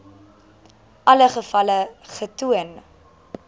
alle gevalle getoon